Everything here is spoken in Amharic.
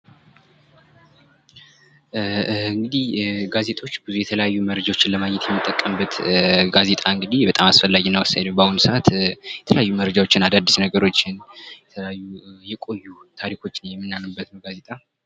ጋዜጣ እንግዲ በጣም አስፈላጊ እና በአሁኑ ሰአት አዳዲስ ነገሮችን የቆዩ ታሪኮችንና የምናቅበት እንግዲህ የጋዜጦች የተለያዩ መረጃዎችን ለማግኘት የሚጠቀምበት ነው ጋዜጣ።